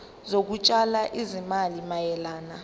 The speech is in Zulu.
zokutshala izimali mayelana